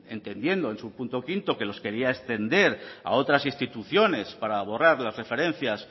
entendiendo en su punto quinto que los quería extender a otras instituciones para borrar las referencias